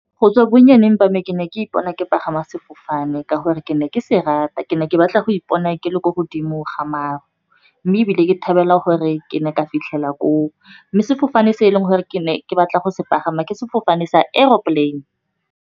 Go tswa bonnyaneng ba mme ke ne ke ipona ke pagama sefofane ka gore ke ne ke se rata. Ke ne ke batla go ipona ke le ko godimo ga maru, mme ebile ke thabela gore ke ne ka fitlhela koo. Mme sefofane se e leng gore ke ne ke batla go se pagama ke sefofane sa aeroplane.